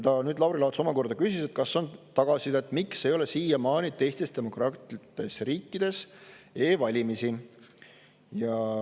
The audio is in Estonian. Ja Lauri Laats omakorda küsida, kas on tagasisidet, miks ei ole siiamaani teistes demokraatlikes riikides e-valimisi.